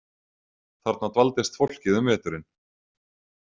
Þarna dvaldist fólkið um veturinn.